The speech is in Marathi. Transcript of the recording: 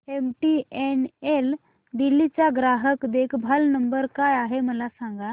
एमटीएनएल दिल्ली चा ग्राहक देखभाल नंबर काय आहे मला सांग